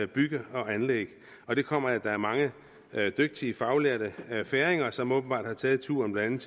bygge og anlæg og det kommer af at der er mange dygtige faglærte færinger som åbenbart har taget turen blandt